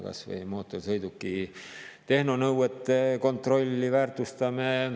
Kas või mootorsõiduki tehnonõuete kontrolli väärtustame.